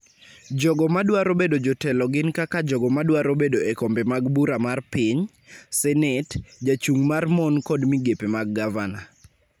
Jogo ma dwaro bedo jotelo gin kaka jogo ma dwaro bedo e kombe mag bura mar piny, Senet, Jachung' mar mon kod migepe mag gavana.